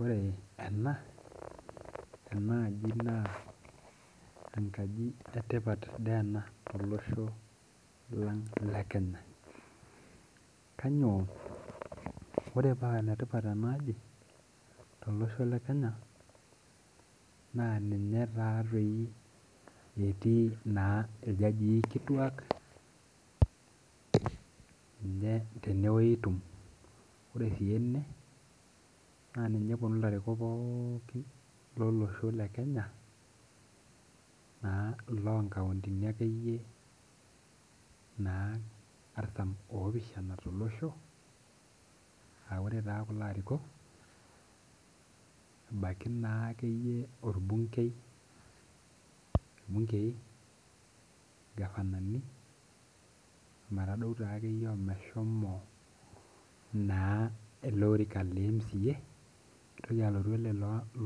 Ore ena, enaaji naa enkaji etipat de ena tolosho lang Kenya. Kanyioo? Ore paa enetipat enaaji tolosho le Kenya, naa ninye tatoi etii naa iljajii kituak, ninye tenewoi itum. Ore si ene, na ninye eponu ilarikok pookin lolosho le Kenya, naa ilo nkauntini akeyie naa artam opishana tolosho, ah ore taa kulo arikok, ebaiki naakeyie orbunkei, irbunkei, gavanani, ometadou takeyie omeshomo naa elotika le MCA, nitoki alotu ele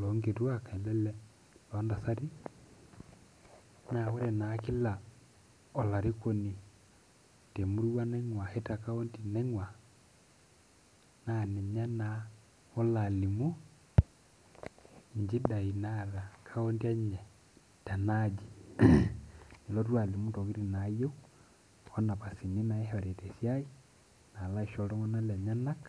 lonkituak, ele lontasati, na ore naa kila olarikoni temurua naing'ua ashu te kaunti naing'ua, na ninye naa olo alimu inchidai naata kaunti enye tenaaji. Nelotu alimu intokiting nayieu, onapasini naishori tesiai, nalo aisho iltung'anak lenyanak.